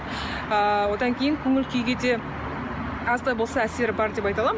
ыыы одан кейін көңіл күйге де аз да болса әсері бар деп айта аламын